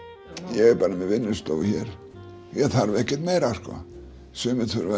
ég er bara með vinnustofu hér ég þarf ekki meira sko sumir þurfa